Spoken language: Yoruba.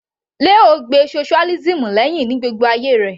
Leo gbe socialism lẹ́hìn ní gbogbo ayé rẹ̀